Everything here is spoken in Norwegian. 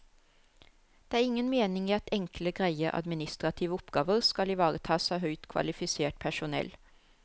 Det er ingen mening i at enkle, greie administrative oppgaver skal ivaretas av høyt kvalifisert personell.